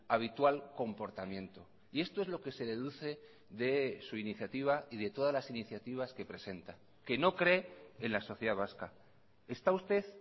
habitual comportamiento y esto es lo que se deduce de su iniciativa y de todas las iniciativas que presenta que no cree en la sociedad vasca está usted